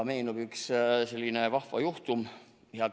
Meenub üks selline vahva juhtum.